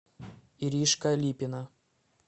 иришка липина